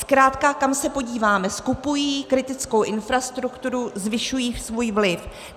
Zkrátka kam se podíváme, skupují kritickou infrastrukturu, zvyšují svůj vliv.